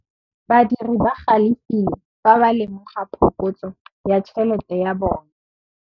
Badiri ba galefile fa ba lemoga phokotsô ya tšhelête ya bone.